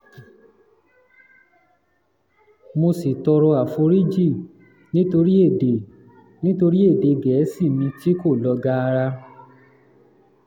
mo sì tọrọ àforíjì nítorí èdè nítorí èdè gẹ̀ẹ́sì mi tí kò lọ gaara